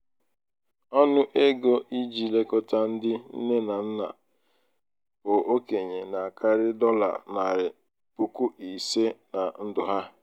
ọnụ ego iji lekọta ndị nne na na nna bu okenye na-akarị dọla narị puku ịse na ndụ ha.